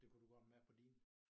Det kan du godt mærke på dine?